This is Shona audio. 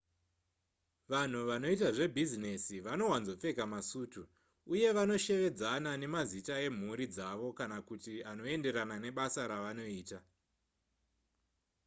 vanhu vanoita zvebhizinesi vanowanzopfeka masutu uye vanoshevedzana nemazita emhuri dzavo kana kuti anoenderana nebasa ravanoita